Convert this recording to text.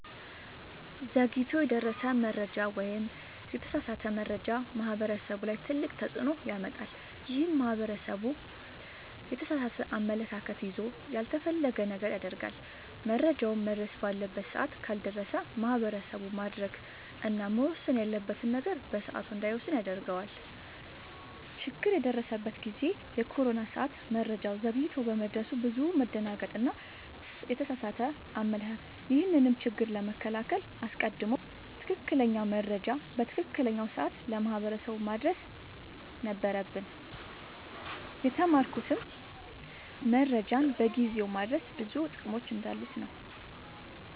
ዘግይቶ የደረሰ መረጃ ወይም የተሳሳተ መረጃ ማህበረሰቡ ላይ ትልቅ ተፅዕኖ ያመጣል። ይህም ማህበረሰቡ የተሳሳተ አመለካከት ይዞ ያልተፈለገ ነገር ያደርጋል። መረጃውም መድረስ ባለበት ሰዓት ካልደረሰ ማህበረሰቡ ማድረግ እና መወሰን ያለበትን ነገር በሰዓቱ እንዳይወስን ያደርገዋል። ችግር የደረሰበት ጊዜ የኮሮና ሰዓት መረጃው ዘግይቶ በመድረሱ ብዙ መደናገጥ እና የተሳሳተ አመለካከት ነበር። ይህንንም ችግር ለመከላከል አስቀድሞ ትክክለኛ መረጃ በትክክለኛው ሰዓት ለማህበረሰቡ ማድረስ ነበረብን። የተማርኩትም መረጃን በጊዜው ማድረስ ብዙ ጥቅሞች እንዳሉት ነወ።